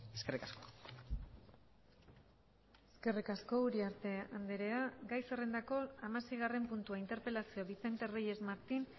eskerrik asko eskerrik asko uriarte andrea gai zerrendako hamaseigarren puntua interpelazioa vicente reyes martín